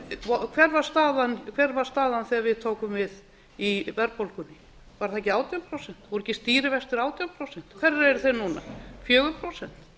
að nást hver var staðan þegar við tókum við í verðbólgunni var það ekki átján prósent voru ekki stýrivextir átján prósent hverjir eru þeir núna fjögur prósent